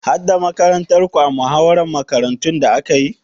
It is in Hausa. Har da makarantarku a muhawarar makarantun da aka yi?